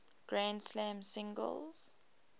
grand slam singles